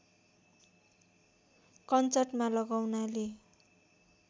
कञ्चटमा लगाउनाले